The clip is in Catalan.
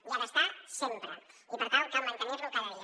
hi ha d’estar sempre i per tant cal mantenir l’hi cada dia